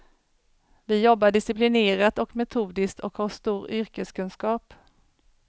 Vi jobbar disciplinerat och metodiskt och har stor yrkeskunskap.